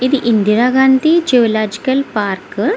ఇది Indira Gandhi zoological park .